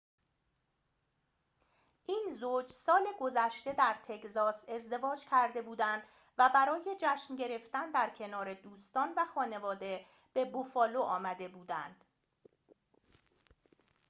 این زوج سال گذشته در تگزاس ازدواج کرده بودند و برای جشن گرفتن در کنار دوستان و خانواده به بوفالو آمده بودند